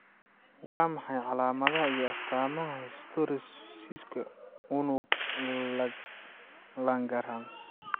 Waa maxay calaamadaha iyo astaamaha histiocytosis unug Langerhans?